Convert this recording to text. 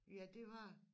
Ja det var det